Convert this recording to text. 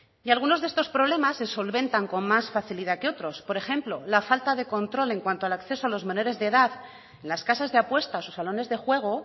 y algunos de estos problemas se solventan con más facilidad que otros por ejemplo la falta de control en cuanto al acceso de los menores de edad a las casas de apuesta o los salones de juego